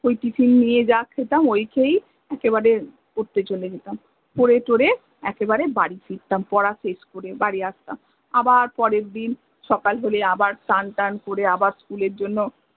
ওই tiffin নিয়ে যা খেতাম ওই খেয়েই একেবারে পরতে চলে যেতাম পরে থরে একেবারে বাড়ি ফিরতাম পরা শেষ করে বাড়ি আসতাম আবার পরের দিন সকাল হলে আবার স্নান থান করে আবার school এর জন্য়